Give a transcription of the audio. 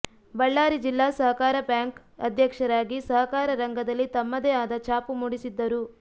ಬಳ್ಳಾರಿ ಜಿಲ್ಲಾ ಸಹಕಾರ ಬ್ಯಾಂಕ್ ಅಧ್ಯಕ್ಷರಾಗಿ ಸಹಕಾರ ರಂಗದಲ್ಲಿ ತಮ್ಮದೇ ಆದ ಛಾಪು ಮೂಡಿಸಿದ್ದರು